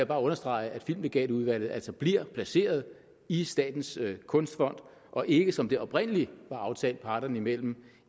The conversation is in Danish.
bare understrege at filmlegatudvalget altså bliver placeret i statens kunstfond og ikke som det oprindelig var aftalt parterne imellem